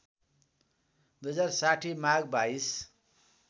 २०६० माघ २२